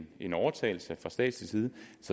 en overtagelse fra statslig side